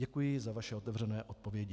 Děkuji za vaše otevřené odpovědi.